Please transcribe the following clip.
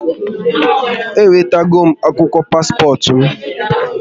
Ewetagom akwụkwọ paspọt m